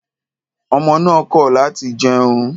Ọmọ náà kọ láti jẹun.